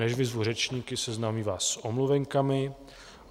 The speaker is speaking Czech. Než vyzvu řečníky, seznámím vás s omluvenkami.